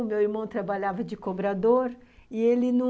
O meu irmão trabalhava de cobrador e ele não...